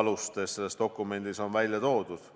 alustes, selles dokumendis on välja toodud.